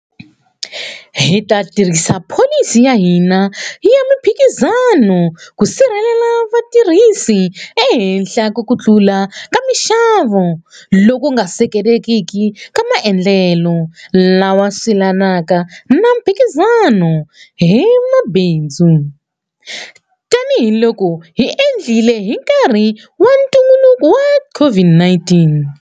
Hi ta tirhisa pholisi ya hina ya mphikizano ku sirhelela vatirhisi ehenhla ka ku tlula ka mixavo loku nga seketelekiki na maendlelo lawa silanaka na mphikizano hi mabindzu, tanihiloko hi endlile hi nkarhi wa ntungukulu wa COVID-19.